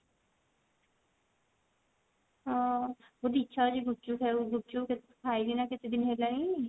ଅ ମୋତେ ଇଛା ହଉଛି ଗୁପଚୁପ୍ ଖାଇବାକୁ ଗୁପଚୁପ୍ ଖାଇନି ନା କେତେଦିନ ହେଲାଣି